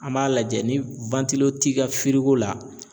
An b'a lajɛ ni t'i ka la